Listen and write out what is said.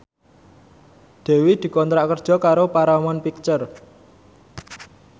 Dewi dikontrak kerja karo Paramount Picture